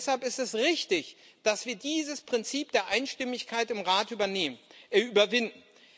Und deshalb ist es richtig, dass wir dieses Prinzip der Einstimmigkeit im Rat überwinden.